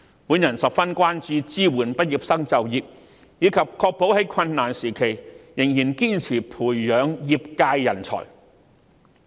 我十分關注支援畢業生就業，以及確保在困難時期仍然堅持培養業界人才。